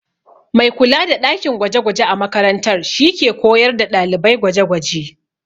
Mai kula da ɗakin gwaje-gwaje a makaranta shi ke koyar da ɗalibai gwaje-gwaje.